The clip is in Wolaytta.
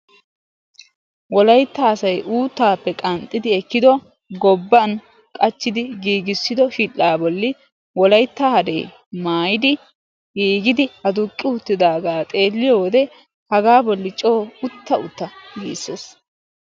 Wolaytta asayi uuttaappe qanxxidi ekkido gobban qachchidi giigissido shidhdhaa bolli wolaytta hadee maayidi giigidi aduqqi uttidaagaa xeelliyode hagaa bolli coo utta utta giisses.